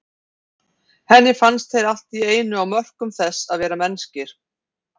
Henni fannst þeir allt í einu á mörkum þess að vera mennskir.